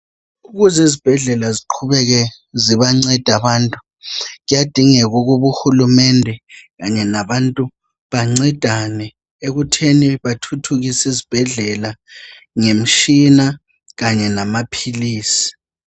Ukuze izibhedlela ziqhubeke zibanceda abantu kuyadingeka ukuba uhulumende kanye labantu bancedane ekutheni bathuthukise izibhedlela ngemtshina kanye lamaphilisi.